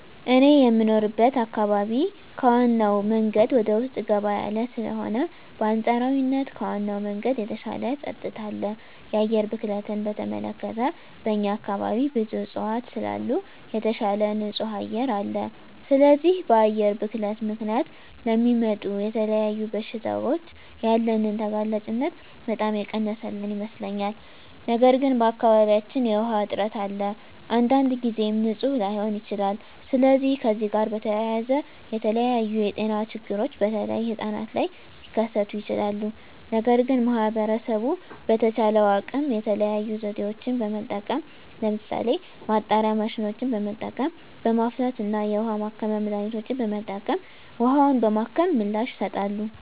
እኔ የምኖርበት አካባቢ ከዋናው መንገድ ወደ ውስጥ ገባ ያለ ስለሆነ በአንፃራዊነት ከዋናው መንገድ የተሻለ ፀጥታ አለ። የአየር ብክለትን በተመለከተ በእኛ አካባቢ ብዙ እፅዋት ስላሉ የተሻለ ንፁህ አየር አለ። ስለዚህ በአየር ብክለት ምክንያት ለሚመጡ ለተለያዩ በሽታዎች ያለንን ተጋላጭነት በጣም የቀነሰልን ይመስለኛል። ነገር ግን በአካባቢያችን የዉሃ እጥረት አለ። አንዳንድ ጊዜም ንፁህ ላይሆን ይችላል። ስለዚህ ከዚህ ጋር በተያያዘ የተለያዩ የጤና ችግሮች በተለይ ህጻናት ላይ ሊከስቱ ይችላሉ። ነገር ግን ማህበረሰቡ በተቻለው አቅም የተለያዩ ዘዴዎችን በመጠቀም ለምሳሌ ማጣሪያ ማሽኖችን በመጠቀም፣ በማፍላት እና የውሀ ማከሚያ መድሀኒቶችን በመጠቀም ውሀውን በማከም ምላሽ ይሰጣሉ።